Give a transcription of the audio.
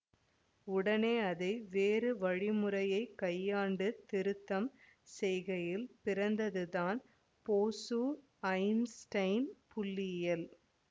உடனே அதை வேறு வழிமுறையைக் கையாண்டு திருத்தம் செய்கையில் பிறந்தது தான் போசுஐன்ஸ்டைன் புள்ளியியல்